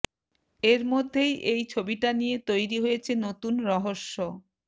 এর মধ্যেই এই ছবিটা নিয়ে তৈরি হয়েছে নতুন রহস্য